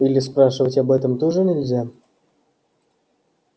или спрашивать об этом тоже нельзя